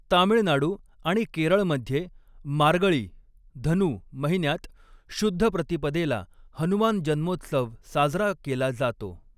तामिळनाडू आणि केरळमध्ये, मार्गळी धनु महिन्यात शुद्ध प्रतिपदेला हनुमान जन्मोत्सव साजरा केला जातो.